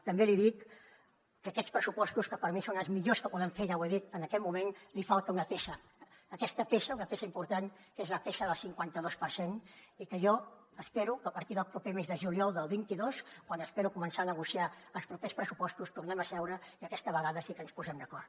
també li dic que a aquests pressupostos que per mi són els millors que podem fer ja ho he dit en aquest moment els falta una peça aquesta peça una peça important que és la peça del cinquanta dos per cent i que jo espero que a partir del proper mes de juliol del vint dos quan espero començar a negociar els propers pressupostos tornem a seure i aquesta vegada sí que ens posem d’acord